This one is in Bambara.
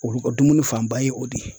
Olu ka dumuni fanba ye o de ye